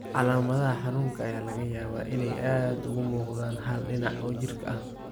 Calaamadaha xanuunka ayaa laga yaabaa inay aad uga muuqdaan hal dhinac oo jirka ah.